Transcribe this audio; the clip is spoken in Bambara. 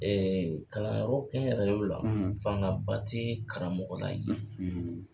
kalanyɔrɔ kɛnyɛrɛyew la fangaba ti karamɔgɔ la ye.